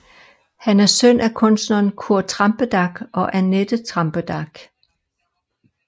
Han er søn af kunstneren Kurt Trampedach og Annette Trampedach